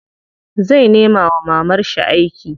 Zai nema wa mamarshi aiki.